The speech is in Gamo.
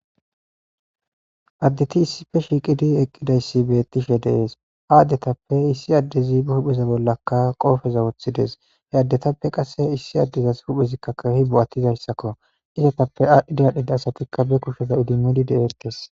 addeiti issife shiiqidi eqqidayssi beettishe deees ha addetappe issi addezi ba huhpheza bollakka qoofeza wothides he addetappe qasse issi addezas huphezikkakkahi bo7attizayssakko izatappe aadhdhidi adhdhida asatikka be kushoda udimidi de7eektes